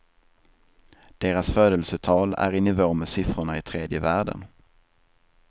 Deras födelsetal är i nivå med siffrorna i tredje världen.